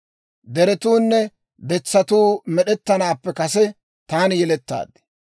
Deretuunne detsatuu med'ettanaappe kase taani yelettaad.